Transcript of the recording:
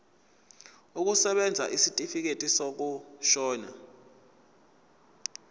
kusebenza isitifikedi sokushona